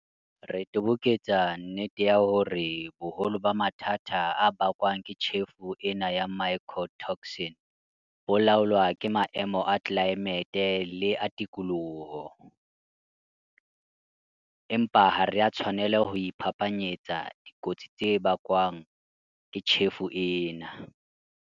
Re toboketsa nnete ya hore boholo ba mathata a bakwang ke tjhefo ena ya mycotoxin bo laolwa ke maemo a tlelaemete le a tikoloho, empa ha re a tshwanela ho iphapanyetsa dikotsi tse bakwang ke tjhefo ena.